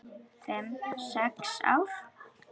Fimm, sex ár?